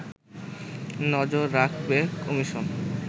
নজর রাখবে কমিশন